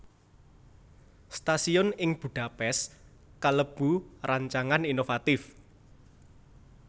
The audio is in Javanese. Stasiun ing Budapest kalebu rancangan inovatif